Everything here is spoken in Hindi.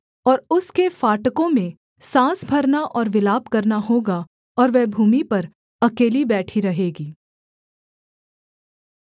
और उसके फाटकों में साँस भरना और विलाप करना होगा और वह भूमि पर अकेली बैठी रहेगी